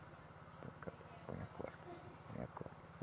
Põe a corda. Põe a corda.